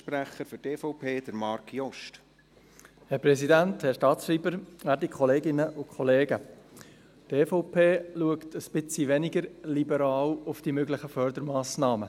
Die EVP blickt ein bisschen weniger liberal auf die möglichen Fördermassnahmen.